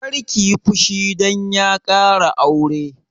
Kar kiyi fushi dan ya ƙara aure!